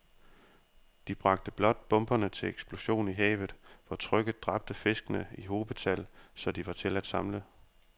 De bragte blot bomberne til eksplosion i havet, hvor trykket dræbte fiskene i hobetal, så de var til at samle